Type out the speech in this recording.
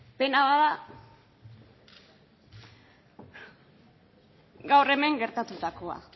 pena bat da gaur hemen gertatutakoa